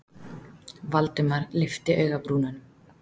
Valdimar lyfti augabrúnunum.